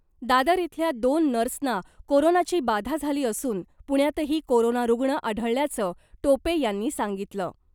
दादर इथल्या दोन नर्सना कोरोनाची बाधा झाली असून पुण्यातही कोरोना रूग्ण आढळल्याचं टोपे यांनी सांगितलं .